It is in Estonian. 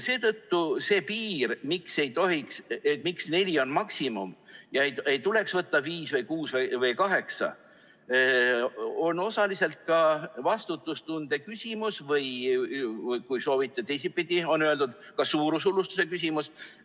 Seetõttu see piir, miks neli on maksimum ega tuleks võtta viis, kuus või kaheksa, on osaliselt ka vastutustunde küsimus, või kui soovite teisipidi, siis on öeldud, et ka suurushullustuse küsimus.